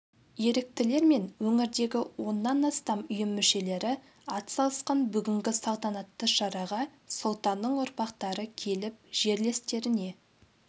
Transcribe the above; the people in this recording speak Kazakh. еріктілер мен өңірдегі оннан астам ұйым мүшелері атсалысқан бүгінгі салтанатты шараға сұлтанның ұрпақтары келіп жерлестеріне